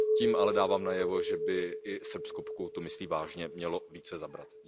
Tím ale dávám najevo, že by i Srbsko, pokud to myslí vážně, mělo více zabrat.